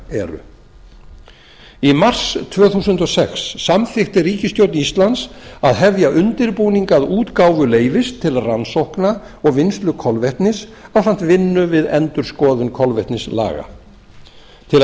eru í mars tvö þúsund og sex samþykkti ríkisstjórn íslands að hefja undirbúning að útgáfu leyfis til rannsókna og vinnslu kolvetnis ásamt vinnu við endurskoðun kolvetnislaga til að